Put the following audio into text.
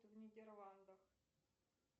в нидерландах